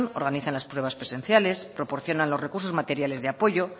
organizan las pruebas presenciales proporcionan los recursos materiales de apoyo